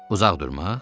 Uzaq durmaq?